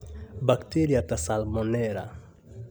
Bacteria ta Salmonella